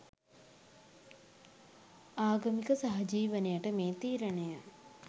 ආගමීක සහජීවනයට මේ තීරණය